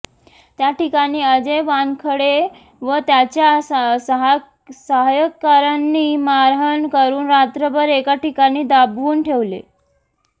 त्या ठिकाणी अजय वानखडे व त्याच्या सहकाऱ्यांनी मारहाण करुन रात्रभर एका ठिकाणी डांबून ठेवले